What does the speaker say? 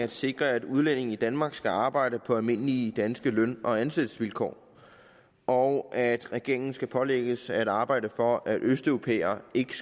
at sikre at udlændinge i danmark skal arbejde på almindelige danske løn og ansættelsesvilkår og at regeringen skal pålægges at arbejde for at østeuropæere ikke